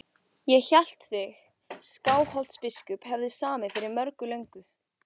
Ég hélt þið Skálholtsbiskup hefðuð samið fyrir margt löngu.